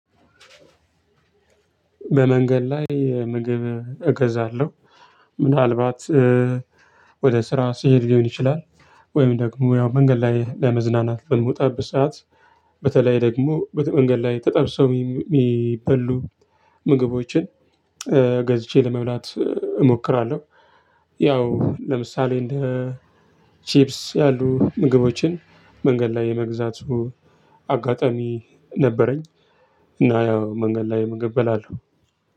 በመንገድ ላይ ምግብ እገዛለሁ ምናልባት ወደ ስራ ስሄድ ሊሆን ይችላል። ወይም ደግሞ ያው መንገድ ላይ ለመዝናናት በምወጣበት በሰአት በተለይ ደግሞ በመንገድ ላይ ተጠብሰው የሚበሉ ምግቦችን ገዝቼ ለመብላት እሞክራለሁ። ያው ለምሳሌ እንደ ቺፕስ ያሉ ምግቦችን መንገድ ላይ የመግዛቱ አጋጣሚ ነበረኝ። እና ያው መንገድ ላይ ምግብ እበላለሁ።